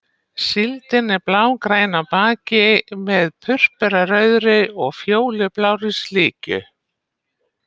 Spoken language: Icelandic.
Síldin er blágræn á baki með purpurarauðri og fjólublárri slikju.